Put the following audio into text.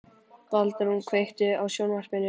Baldrún, kveiktu á sjónvarpinu.